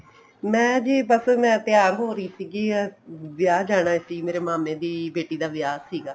ਮੈਂ ਜੀ ਬੱਸ ਮੈਂ ਤਿਆਰ ਹੋ ਰਹੀ ਸੀਗੀ ਵਿਆਹ ਜਾਣਾ ਸੀ ਮੇਰੇ ਮਾਮੇ ਦੀ ਬੇਟੀ ਦਾ ਵਿਆਹ ਸੀਗਾ